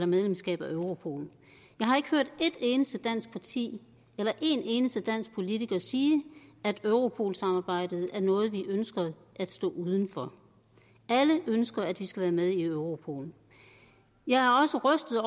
medlemskab af europol jeg har ikke hørt et eneste dansk parti eller en eneste dansk politiker sige at europol samarbejdet er noget man ønsker at stå uden for alle ønsker at vi skal være med i europol jeg er også rystet